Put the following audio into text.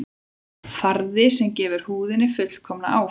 Farði sem gefur húðinni fullkomna áferð